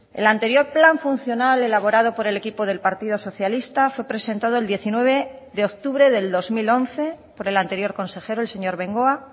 el anterior plan funcional elaborado por el equipo del partido socialista fue presentado el diecinueve de octubre del dos mil once por el anterior consejero el señor bengoa